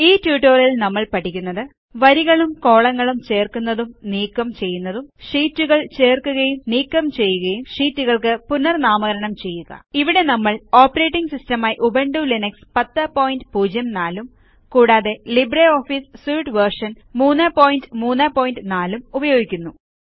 ഈ ട്യൂട്ടോറിയലിൽ നമ്മൾ പഠിക്കുന്നത്160 വരികളും കോളങ്ങളും ചേർക്കുന്നതും നീക്കം ചെയ്യുന്നതും ഷീറ്റുകൾ ചേർക്കുകയും നീക്കം ചെയ്യുകയും ഷീറ്റുകൾക്ക് പുനർനാമകരണം ചെയ്യുക ഇവിടെ നമ്മൾ ഓപ്പറേറ്റിംഗ് സിസ്റ്റമായി ഉബുന്റു ലിനക്സ് 1004 ഉം കൂടാതെ ലിബ്രിയോഫീസ് സ്യൂട്ട് വെർഷൻ 334 ഉം ഉപയോഗിക്കുന്നു